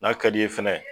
N'a ka di ye fɛnɛ